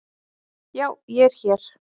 Já ég er hér.